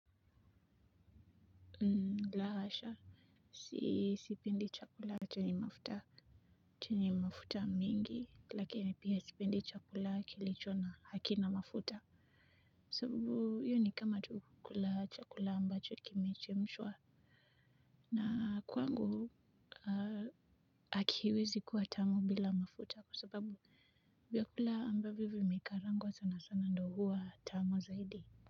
La hasha sipendi chakula chenye mafuta chenye mafuta mingi lakini pia sipendi chakula kilicho na hakina mafuta sababu hio ni kama tu kukula chakula ambacho kimechemshwa na kwangu hakiwezi kuwa tamu bila mafuta kwa sababu vyakula ambavyo vimekarangwa sana sana ndio huwa tamu zaidi.